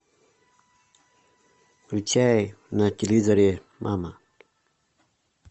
включай на телевизоре мама